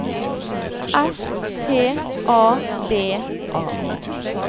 S T A V A